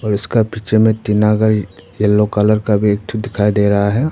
और इसका पीछे में टीना का येलो कलर का भी एक ठो दिखाई दे रहा है।